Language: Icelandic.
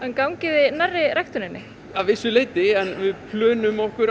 gangið þið nærri ræktuninni að vissu leyti en við plönum okkur